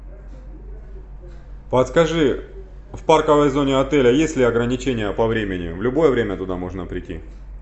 подскажи в парковой зоне отеля есть ли ограничения по времени в любое время туда можно прийти